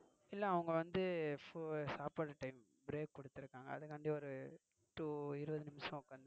இல்ல அவங்க வந்து சாப்பாடு time break குடுத்திருக்காங்க அதுக்கு வேண்டி ஒரு இருபது நிமிஷம்.